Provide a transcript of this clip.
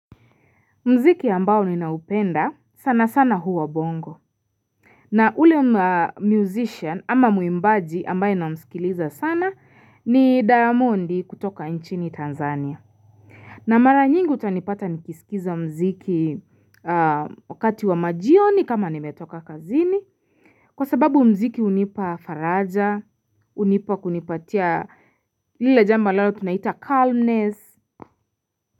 Mziki ambao ninaupenda sana sana huwa bongo na ule musician ama muimbaji ambaye namsikiliza sana ni diamondi kutoka nchini tanzania na mara nyingi utanipata nikisikiza mziki wakati wa majioni kama nimetoka kazini kwa sababu mziki unipa faraja unipa kunipatia lila jambo lalo tunaita calmness.